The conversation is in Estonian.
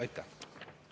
Aitäh!